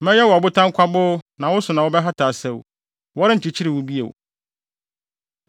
Mɛyɛ wo ɔbotan kwaboo na wo so na wɔbɛhata asau. Wɔrenkyekyere wo bio.